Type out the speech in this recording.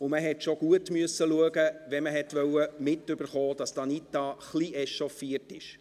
Man musste schon genau hinschauen, wenn man mitkriegen wollte, wenn Anita Luginbühl etwas echauffiert war.